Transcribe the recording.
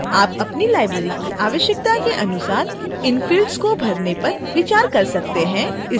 आप अपनी library की आवश्यकता के अनुसार इन fields को भरने पर विचार कर सकते हैं